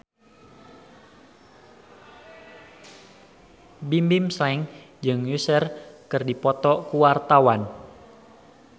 Bimbim Slank jeung Usher keur dipoto ku wartawan